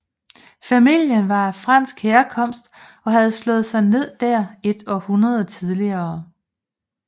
Familien var af fransk herkomst og havde slået sig ned der et århundrede tidligere